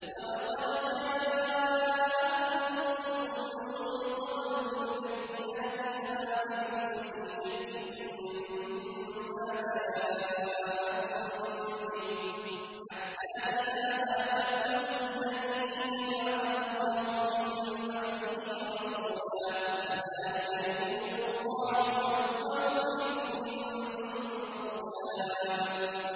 وَلَقَدْ جَاءَكُمْ يُوسُفُ مِن قَبْلُ بِالْبَيِّنَاتِ فَمَا زِلْتُمْ فِي شَكٍّ مِّمَّا جَاءَكُم بِهِ ۖ حَتَّىٰ إِذَا هَلَكَ قُلْتُمْ لَن يَبْعَثَ اللَّهُ مِن بَعْدِهِ رَسُولًا ۚ كَذَٰلِكَ يُضِلُّ اللَّهُ مَنْ هُوَ مُسْرِفٌ مُّرْتَابٌ